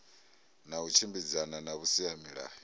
na u tshimbidzana na vhusimamilayo